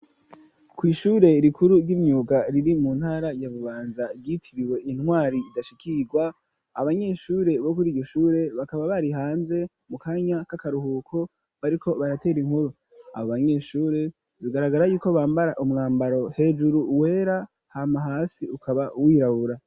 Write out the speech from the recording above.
kw’ishure rikuru ry'imyuga riri mu ntara ya Bubanza ryitiriwe intwari idashikirwa abanyeshure bo kuri iryo shure bakaba bari hanze mu kanya k'akaruhuko bariko baratera inkuru abo banyeshure bigaragara yuko bambara umwambaro hejuru wera hama hasi ukaba wirabura.